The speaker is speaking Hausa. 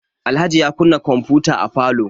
Alhaji ya kunna kwamfuta a falo.